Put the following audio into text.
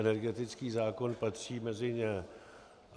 Energetický zákon patří mezi ně.